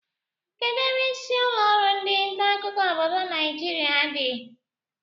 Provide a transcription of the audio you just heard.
Kedụ ebe isi ụlọrụ ndị ntaakụkọ obodo Naijiria dị?